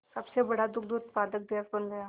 सबसे बड़ा दुग्ध उत्पादक देश बन गया